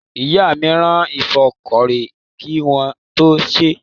Ìyá mi rin ìfọ́kọrẹ́ kí wọ́n tó sèé.